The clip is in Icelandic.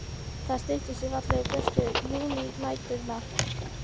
Það styttist í fallegu, björtu júnínæturnar.